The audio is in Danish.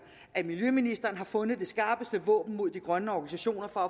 at miljøministeren har fundet det skarpeste våben mod de grønne organisationer for